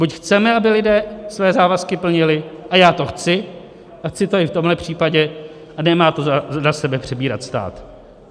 Buď chceme, aby lidé své závazky plnili, a já to chci a chci to i v tomhle případě, a nemá to na sebe přebírat stát.